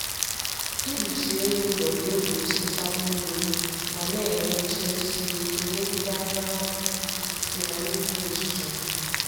Ikpuchi elu ụlọ ga-egbochi ntapu mmiri ma na-enye nchebe siri ike megide anyanwụ, ifufe, na mmiri ozuzo.